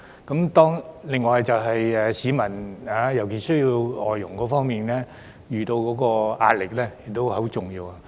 此外便是市民，他們在需要外傭方面所遇到的壓力也很重要。